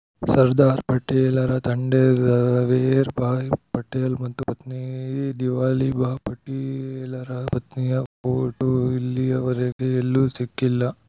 ಸರ್ದಾರ್‌ ಪಟೇಲರ ತಂದೆ ಝವೇರ್‌ಭಾಯ್‌ ಪಟೇಲ್‌ ಮತ್ತು ಪತ್ನಿ ದಿವಾಲಿ ಬಾ ಪಟೇಲರ ಪತ್ನಿಯ ಫೋಟೋ ಇಲ್ಲಿಯವರೆಗೆ ಎಲ್ಲೂ ಸಿಕ್ಕಿಲ್ಲ